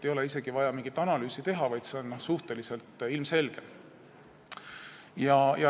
Ei ole isegi vaja mingit analüüsi teha, see on ilmselge.